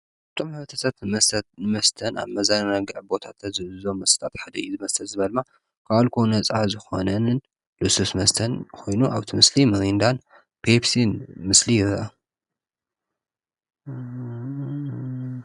እቶም ሕብረተሰብ ትመስተን ኣብ መዘናግዒ ቦታታት ተዝእዞ መስጣትሕደይ ዝመስተት ዝበርማ ኲኣልኮ ነፃ ዝኾነንን ልሱስ መስተን ኾይኑ ኣብቲ ምስሊ ምሪንዳን ፔፕሲን ምስሊ ዮና።